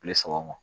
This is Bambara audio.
Kile saba ma